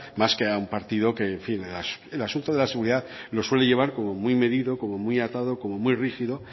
más que a un partido que en fin el asunto de seguridad lo suele llevar muy medido como muy atado como muy rígido